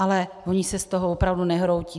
Ale oni se z toho opravdu nehroutí.